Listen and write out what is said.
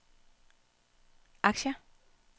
aktier